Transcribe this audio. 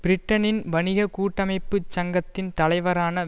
பிரிட்டனின் வணிக கூட்டமைப்புச் சங்கத்தின் தலைவரான